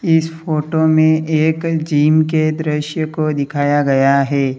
इस फोटो में एक जिम के दृश्य को दिखाया गया है।